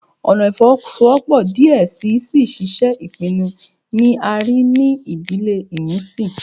Ọna ifowosowopo diẹ sii si ṣiṣe ipinnu ni a rii ni idile imusin